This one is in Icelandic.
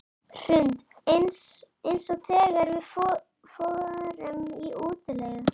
Hrund: Eins og þegar við förum í útilegu?